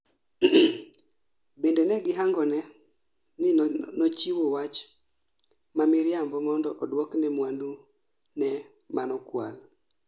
bende negihangone ni nochiwo wach ma miriambo mondo oduokne mwandu ne manokwal